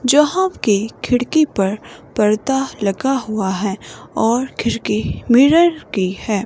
यहां की खिड़की पर पर्दा लगा हुआ है और खिड़की मिरर की है।